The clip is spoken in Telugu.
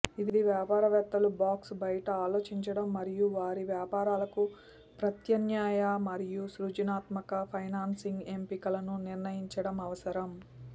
ఇది వ్యాపారవేత్తలు బాక్స్ బయట ఆలోచించడం మరియు వారి వ్యాపారాలకు ప్రత్యామ్నాయ మరియు సృజనాత్మక ఫైనాన్సింగ్ ఎంపికలను నిర్ణయించడం అవసరం